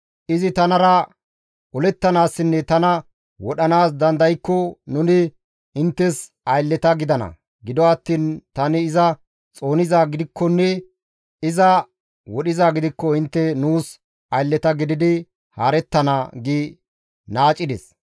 Izi tanara olettanaassinne tana wodhanaas dandaykko nuni inttes aylleta gidana; gido attiin tani iza xoonizaa gidikkonne iza wodhizaa gidikko intte nuus aylleta gididi haarettana» gi naacides.